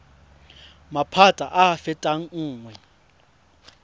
maphata a a fetang nngwe